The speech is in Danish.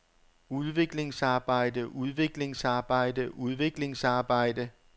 udviklingsarbejde udviklingsarbejde udviklingsarbejde